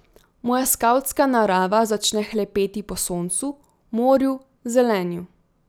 Moja skavtska narava začne hlepeti po soncu, morju, zelenju.